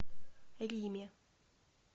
риме